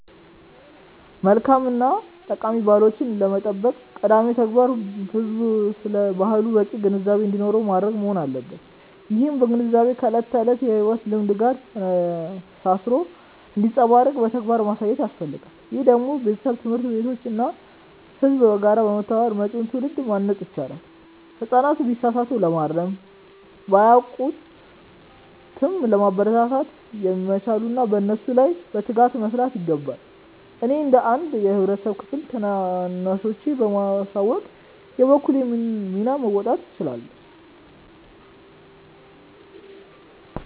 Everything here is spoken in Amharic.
መልካም እና ጠቃሚ ባህሎቻችንን ለመጠበቅ ቀዳሚው ተግባር ህዝቡ ስለ ባህሉ በቂ ግንዛቤ እንዲኖረው ማድረግ መሆን አለበት። ይህም ግንዛቤ ከዕለት ተዕለት የሕይወት ልምምድ ጋር ተሳስሮ እንዲንጸባረቅ በተግባር ማሳየት ያስፈልጋል። ይህንን ደግሞ ቤተሰብ፣ ትምህርት ቤቶች እና ህዝቡ በጋራ በመተባበር መጪውን ትውልድ ማነጽ ይችላሉ። ህጻናት ቢሳሳቱ ለማረም፣ ቢያውቁም ለማበረታታት ይመቻሉና በእነሱ ላይ በትጋት መስራት ይገባል። እኔም እንደ አንድ የህብረተሰብ ክፍል ታናናሾቼን በማሳወቅ የበኩሌን ሚና መወጣት እችላለሁ።